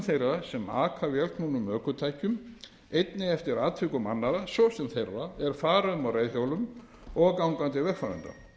sem aka vélknúnum ökutækjum einnig eftir atvikum annarra svo sem þeirra er fara um á reiðhjólum og gangandi vegfarenda